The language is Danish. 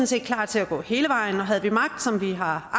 set klar til at gå hele vejen og havde vi magt som vi har